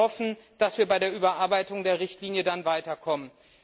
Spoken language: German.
Wir hoffen, dass wir bei der Überarbeitung der Richtlinie dann weiterkommen.